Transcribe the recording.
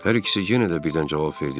Hər ikisi yenə də birdən cavab verdi.